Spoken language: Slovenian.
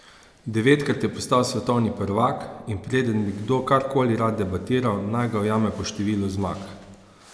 Devetkrat je postal svetovni prvak, in preden bi kdo kar koli rad debatiral, naj ga ujame po številu zmag.